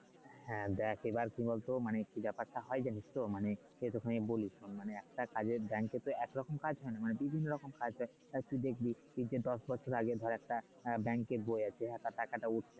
হ্যাঁ দেখ এবার কি বল তো মানে ব্যাপারটা হয় যে তো মানে এরকমই বলি শোন মানে একটা কাজের তো একরকম কাজ না বিভিন্ন রকম কাজ হয় তুই দেখবি দশ বছর আগে ধর একটা এর বই আছে আর তার টাকাটা